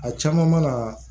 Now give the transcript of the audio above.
A caman mana